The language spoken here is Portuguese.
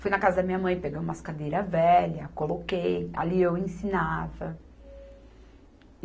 Fui na casa da minha mãe, peguei umas cadeiras velhas, coloquei, ali eu ensinava.